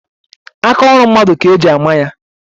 Aka ọrụ mmadụ ka-eji ama ya